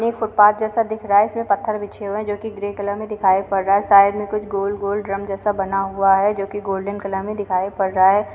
यह एक फुटपाथ जैसा दिख रहा है। इसमे पत्थर बिछे हुए हैं जो कि ग्रे कलर में दिखाई पड़ रहा है। साइड में कुछ गोल-गोल ड्रम जैसा बना हुआ है जो कि गोल्डन कलर में दिखाई पड़ रहा है।